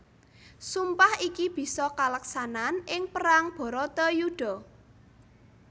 Sumpah iki bisa kaleksanan ing perang Bharatayudha